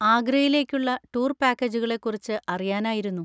ആഗ്രയിലേക്കുള്ള tour പാക്കേജുകളെ കുറിച്ച് അറിയാനായിരുന്നു.